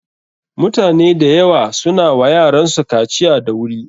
Mutane da yawa su na wa yaransu kaciya da wuri.